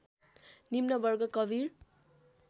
निम्न वर्ग कबिर